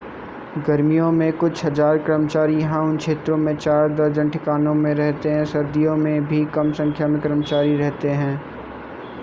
गर्मियों में कुछ हज़ार कर्मचारी यहां उन क्षेत्रों में चार दर्जन ठिकानों में रहते हैं सर्दियों में भी कम संख्या में कर्मचारी रहते हैं